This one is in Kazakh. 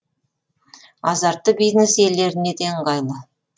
азартты бизнес иелеріне де ыңғайлы